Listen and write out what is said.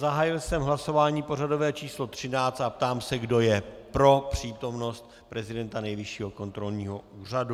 Zahájil jsem hlasování pořadové číslo 13 a ptám se, kdo je pro přítomnost prezidenta Nejvyššího kontrolního úřadu.